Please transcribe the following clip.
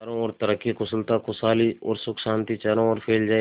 चारों और तरक्की कुशलता खुशहाली और सुख शांति चारों ओर फैल जाए